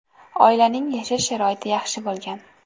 Oilaning yashash sharoiti yaxshi bo‘lgan.